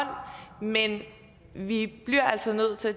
hånd men vi bliver altså nødt til at